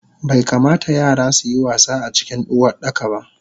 Baikamata yara suyi wasa acikin Uwardakaba